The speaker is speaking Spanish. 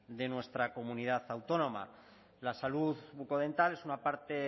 de nuestra comunidad autónoma la salud bucodental es una parte